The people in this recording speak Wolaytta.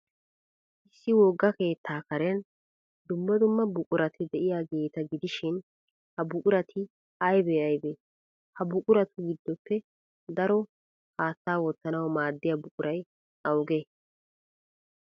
Issi wogga keettaa karen dumma dumma buqurati de'iyaageeta gidishin, ha buqurati aybee aybee? Ha buquratu giddoppe daro haattaa wottanawu maaddiyaa buquray awugee?